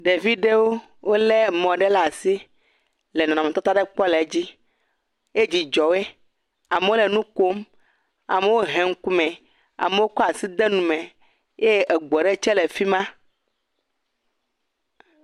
Ɖeviwo le mɔ ɖe le asi. Wole nɔnɔ me tata aɖe kpɔm le edzi ye dzidzɔ woe. Amewo le nu kom. Amewo he ŋkume. Amewo tso asi de nume eye eŋu aɖe nɔ afima.